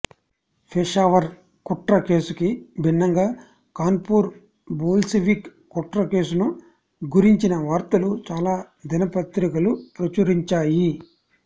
పెషావర్ కుట్ర కేసుకి భిన్నంగా కాన్పూర్ బోల్షివిక్ కుట్రకేసును గురించిన వార్తలు చాలా దిన పత్రికలు ప్రచురించాయి